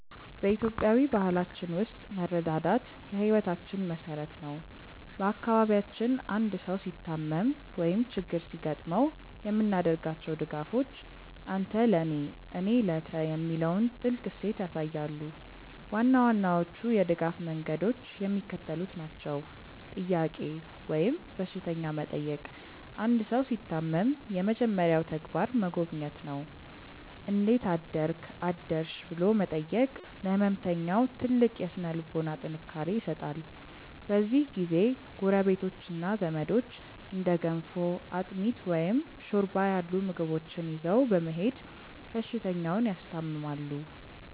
በኢትዮጵያዊ ባህላችን ውስጥ መረዳዳት የሕይወታችን መሠረት ነው። በአካባቢያችን አንድ ሰው ሲታመም ወይም ችግር ሲገጥመው የምናደርጋቸው ድጋፎች "አንተ ለኔ፣ እኔ ለተ" የሚለውን ጥልቅ እሴት ያሳያሉ። ዋና ዋናዎቹ የድጋፍ መንገዶች የሚከተሉት ናቸው፦ "ጥያቄ" ወይም በሽተኛ መጠየቅ አንድ ሰው ሲታመም የመጀመሪያው ተግባር መጎብኘት ነው። "እንዴት አደርክ/ሽ?" ብሎ መጠየቅ ለሕመምተኛው ትልቅ የሥነ-ልቦና ጥንካሬ ይሰጣል። በዚህ ጊዜ ጎረቤቶችና ዘመዶች እንደ ገንፎ፣ አጥሚት፣ ወይም ሾርባ ያሉ ምግቦችን ይዘው በመሄድ በሽተኛውን ያስታምማሉ።